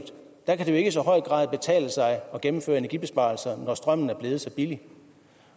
kan det jo ikke i så høj grad betale sig at gennemføre energibesparelser når strømmen er blevet så billig